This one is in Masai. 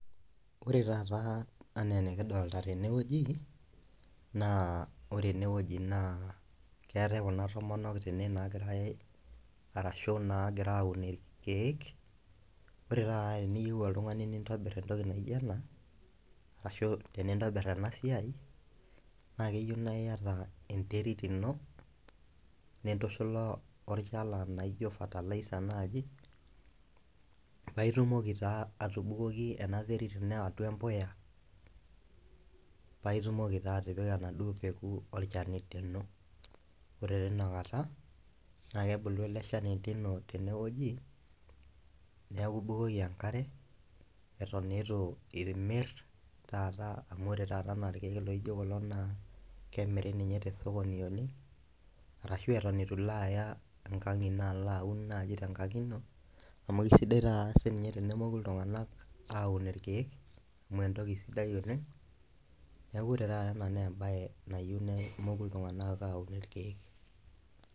Ore taata ana enikidolta tenewueji na ore enewueji na keetae kuna tomonok tenewueji nagira arashu nagira aun irkiek ore taata teniyeu oltungani nintobir entoki naijo ena arashu tenintobir enasiai na keyieu niata enterit ino nintushala olchala naijo fertiliser pitumoki na atubukoki enaterit ino atua empuya naitumoki na atipika enaduo peku olchamba lino ore tinakata na kebulu ele shani lino tenewueji neaku ibukoki enkare atan ituimir amu ore taata rkiek lijo kulo na lemirininche tosokoni oleng arashu ata itu lo aya enkang ino aun nau tenkaji ino kesidai nai tenemoku ltunganak aun rkiek amu entoki sidia oleng neaku ore taata ena na embae nayieu nemoku ltunganak aun irkiek